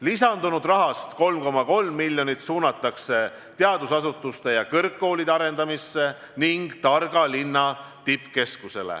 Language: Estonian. Lisandunud rahast 3,3 miljonit suunatakse teadusasutuste ja kõrgkoolide arendamisse ning targa linna tippkeskusele.